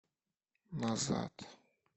назад